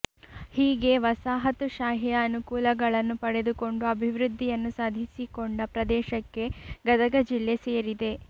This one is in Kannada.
ಹೀಗೆ ವಸಾಹತು ಶಾಹಿಯ ಅನುಕೂಲಗಳನ್ನು ಪಡೆದುಕೊಂಡು ಅಭಿವೃದ್ಧಿಯನ್ನು ಸಾಧಿಸಿಕೊಂಡ ಪ್ರದೇಶಕ್ಕೆ ಗದಗ ಜಿಲ್ಲೆ ಸೇರಿದೆ